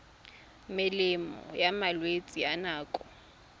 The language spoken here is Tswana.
melemo ya malwetse a nako